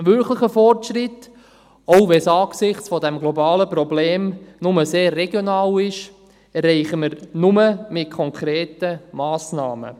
Einen wirklichen Fortschritt, auch wenn es angesichts dieses globalen Problems nur sehr regional ist, erreichen wir nur mit konkreten Massnahmen.